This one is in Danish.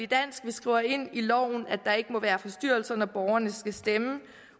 dansk vi skriver ind i loven at der ikke må være forstyrrelser når borgerne skal stemme